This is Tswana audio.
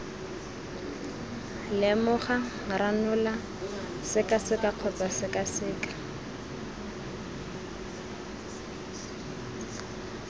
lemoga ranola sekaseka kgotsa sekaseka